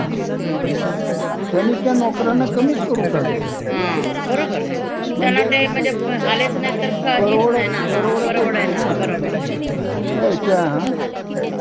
या लॉकडाऊन कोरोनाच्या काळात, हं. बर्याचश्या लोकांच्या नोकऱ्या गेल्या. हा. त्याच्यामुळे हे सगळ अस अनिश्चिततेच वातवरन आहे. हं.